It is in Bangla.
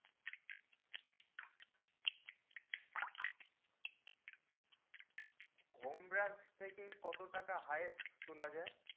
home branch থেকে কত টাকা তোলা যাই